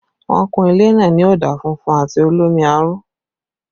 Wọ́n kun ilé náà ní ọ̀dà funfun àti olómi aró